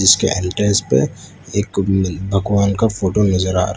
जिसके एंट्रेंस पे एक भगवान का फोटो नजर आ रहा--